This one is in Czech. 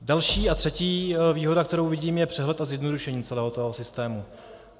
Další a třetí výhoda, kterou vidím, je přehled a zjednodušení celého toho systému.